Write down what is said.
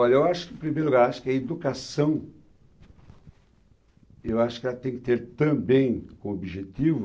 Olha, eu acho que, em primeiro lugar, acho que a educação, eu acho que ela tem que ter também como objetivo